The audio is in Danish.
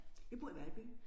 Jeg bor i Valby